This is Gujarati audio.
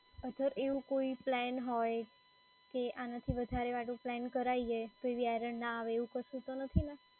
અગર એવો કોઈ પ્લાન હોય કે આનાથી વધારે વાળું પ્લાન કરાઈએ તો એવી error ના આવે એવી કશું તો નથી ને?